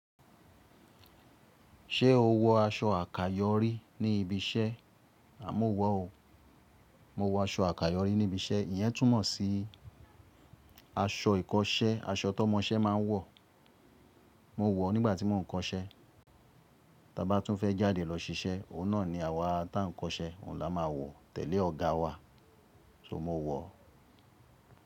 Ṣé o wọ aṣọ àkàyọ́rí ní ibi iṣẹ́? À mò wọ̀ o. Mo wọ aṣọ àkàyọ́rí ní ibi iṣẹ́. Iyẹn túmọ̀ sí aṣọ ìkọṣẹ́, aṣọ tọ́mọ iṣẹ́ máa ń wọ̀. Mo wọ̀ ọ́ nígbà tí mo ń kọ iṣẹ́. Ta bá tún fẹ́ jáde lọ ṣiṣẹ́, òun náà ni àwa tá ń kọ iṣẹ́, òun la máa wọ̀ tẹ̀lé ọ̀gá wa, so mo wọ̀ ọ́.